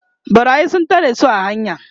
ɓarayi sun tare su a hanya